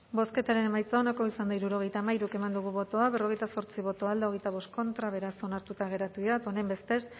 bozketaren emaitza onako izan da hirurogeita hamairu eman dugu bozka berrogeita zortzi boto alde veinticinco contra beraz onartuta geratu dira eta honenbestez